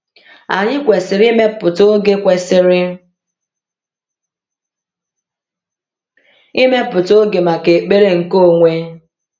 Anyị kwesịrị ịmepụta oge kwesịrị ịmepụta oge maka ekpere nke onwe.